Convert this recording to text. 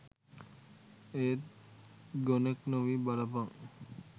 ඒත් ගොනෙක් නොවී බලපන්